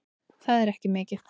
Það er ekki mikið